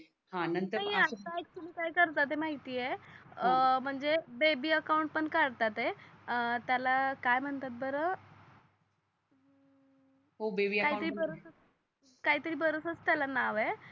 ते काय करतात माहिती आहे म्हणजे बेबी अकाउंट पण कडतातय त्याला काय म्हणतात बर हो बेबी अकाउंट काही तरी बरचअस काही तरी बरच अस त्याला नाव आहे